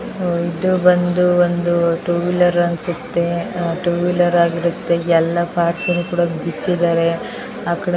ಇದು ಬಂದು ಒಂದು ಟೂ ವೀಲರ್ ಅನ್ಸುತ್ತೆ ಆ ಟೂ ವೀಲರ್ ಆಗಿರುತ್ತೆ ಎಲ್ಲಾ ಪಾರ್ಟ್ಸ್ ನು ಕೂಡಾ ಬಿಚ್ಚಿದಾರೆ ಆ ಕಡೆ --